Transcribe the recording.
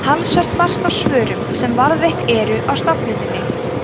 talsvert barst af svörum sem varðveitt eru á stofnuninni